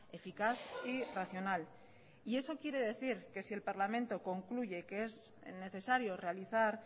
eficaz y racional y eso quiere decir que si el parlamento concluye que es necesario realizar